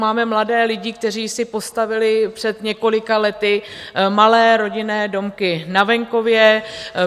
Máme mladé lidi, kteří si postavili před několika lety malé rodinné domky na venkově.